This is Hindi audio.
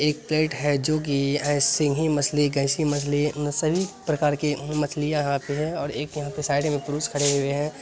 एक प्लेट है जो की ऐ सिनही मछली एक ऐसी मछली है जिनमे सभी प्रकार की मछलिया आती है और एक यहाँ पे साइड में पुरुष खड़े हुए हैं